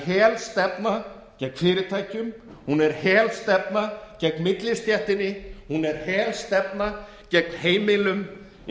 helstefna gegn fyrirtækjum hún er helstefna gegn millistéttinni hún er helstefna gegn heimilum í